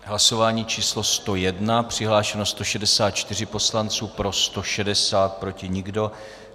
Hlasování číslo 101, přihlášeno 164 poslanců, pro 160, proti nikdo.